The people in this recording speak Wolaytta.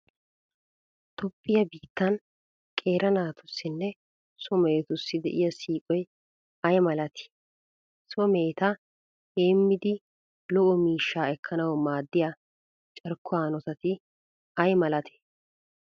Toophphiya biittan qeera naatussinne so mehetussi de'iya siiqoy ay malatii? So meheta heemmidi lo"o miishshaa ekkanawu maaddiya carkkuwa hanotati ay malatee?